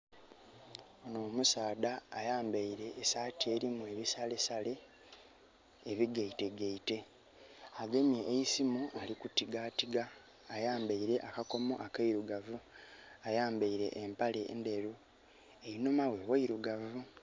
Omusaadha ayambeire esaati erimu ebisalesale ebigeite geite. Agemye eisimu ali kutigatiga, ayambeire akakomo akeirugavu, ayambeire empale endheru, einhuma ghe ghailugavu.